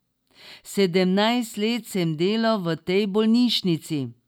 Sedemnajst let sem delal v tej bolnišnici.